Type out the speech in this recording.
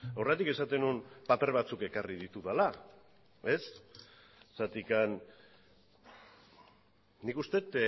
horregatik esaten nuen paper batzuk ekarri ditudala nik uste dut